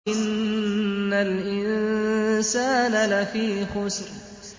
إِنَّ الْإِنسَانَ لَفِي خُسْرٍ